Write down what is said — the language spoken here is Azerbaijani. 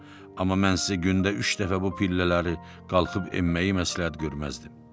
Amma mən sizə gündə üç dəfə bu pillələri qalxıb enməyi məsləhət görməzdim.